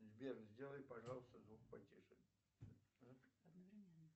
сбер сделай пожалуйста звук потише